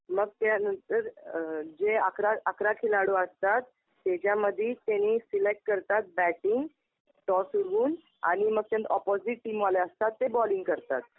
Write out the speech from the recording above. मग त्यांनतर अ जे अकरा अकरा खिलाडू असतात, त्याच्यामधी त्यांनी ते सिलेक्ट करतात बॅटिंग टॉस उडवून आणि मग अपोजिट टीम वाले असतात ते बॉलिंग करतात.